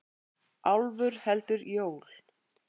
Álfur heldur jól.